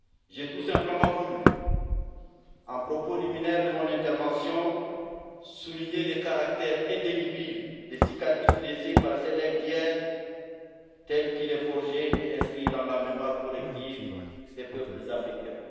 J'ai tout simplement voulu, en propos liminaire de mon intervention, souligner le caractère indélébile des cicatrices laissées par ce legs d'hier, tel qu'il est forgé et inscrit dans la mémoire collective des peuples africains.